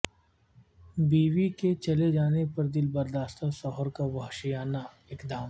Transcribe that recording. بیوی کے چلے جانے پر دل برداشتہ شوہر کا وحشیانہ اقدام